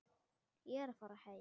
Ég er að fara heim.